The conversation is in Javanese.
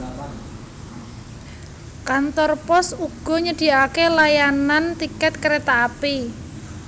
Kantor pos uga nyediakaké layanan tiket kereta api